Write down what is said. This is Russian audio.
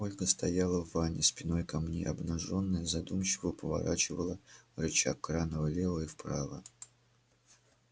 ольга стояла в ванне спиной ко мне обнажённая задумчиво поворачивала рычаг крана влево и вправо